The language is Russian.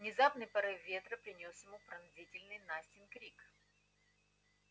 внезапный порыв ветра принёс ему пронзительный настин крик